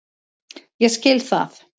Ég skil það.